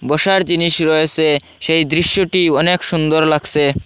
অসার জিনিস রয়েসে সেই দৃশ্যটি অনেক সুন্দর লাগসে।